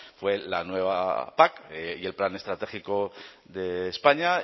la nueva pac y el plan estratégico de españa